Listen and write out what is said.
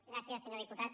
gràcies senyor diputat